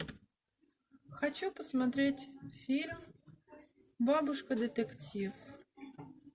хочу посмотреть фильм бабушка детектив